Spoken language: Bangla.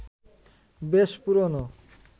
বেশ পুরনো